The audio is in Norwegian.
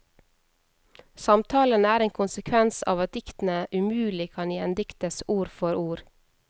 Samtalene er en konsekvens av at diktene umulig kan gjendiktes ord for ord.